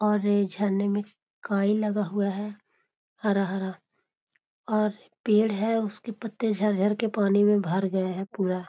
और झरने में काई लगा हुआ है हरा-हरा और पेड़ है उसके पत्ते झर-झर के पानी में भर गए हैं पूरा।